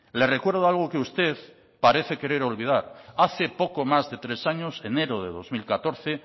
le recuerdo algo que usted parece querer olvidar hace poco más de tres años enero de dos mil catorce